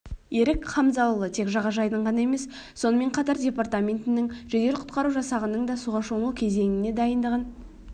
ерік хамзаұлы тек жағажайдың ғана емес сонымен қатар департаментінің жедел-құтқару жасағының да суға шомылу кезеңіне дайындығын